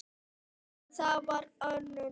Það var og örn mikill.